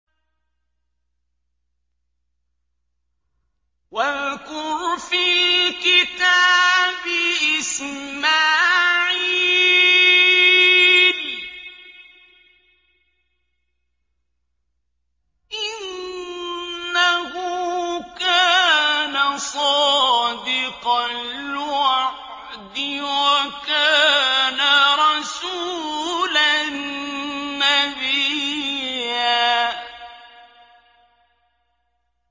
وَاذْكُرْ فِي الْكِتَابِ إِسْمَاعِيلَ ۚ إِنَّهُ كَانَ صَادِقَ الْوَعْدِ وَكَانَ رَسُولًا نَّبِيًّا